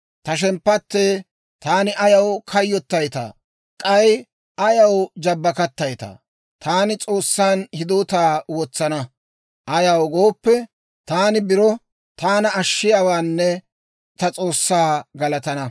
Ta shemppattee, taani ayaw kayyottaytaa? K'ay ayaw jabbakattayttaa? Taani S'oossan hidootaa wotsana. Ayaw gooppe, taani biro taana ashshiyaawaanne ta S'oossaa galatana.